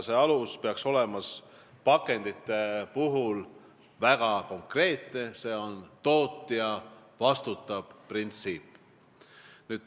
See alus peaks pakendite puhul olema väga konkreetne, see on tootja-vastutab-printsiip.